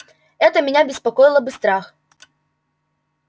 это меня беспокоило бы страх